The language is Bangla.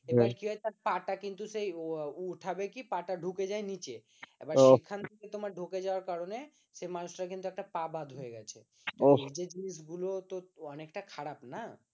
এবার কি হয়েছে পা টা কিন্তু সেই উঠাবে কি পা টা ঢুকে যায় নিচে এবার এখান থেকে তোমার ঢুকে যাওয়ার কারণে সে মানুষটার কিন্তু একটা পা বাদ হয়ে গেছে এই যে জিনিসগুলো অনেকটাই খারাপ না